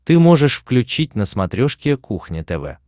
ты можешь включить на смотрешке кухня тв